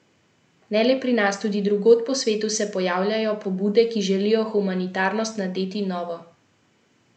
Ne le pri nas, tudi drugod po svetu se pojavljajo pobude, ki želijo humanitarnosti nadeti novo podobo.